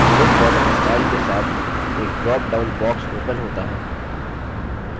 विविध border style के साथ एक drop down box opens होता है